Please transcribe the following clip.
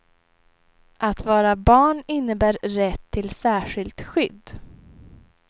Att vara barn innebär rätt till särskilt skydd.